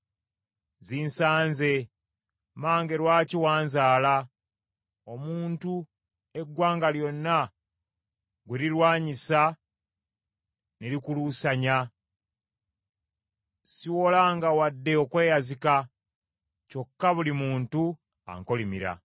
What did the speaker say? Zinsanze, mmange lwaki wanzaala omuntu eggwanga lyonna gwe lirwanyisa ne likuluusanya? Siwolanga wadde okweyazika, kyokka buli muntu ankolimira.